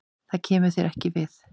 Það kemur þér ekki við.